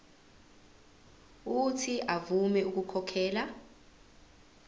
uuthi avume ukukhokhela